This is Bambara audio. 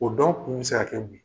O dɔw kun bi se ka kɛ mun ye